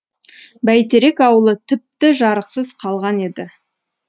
бәйтерек ауылы тіпті жарықсыз қалған еді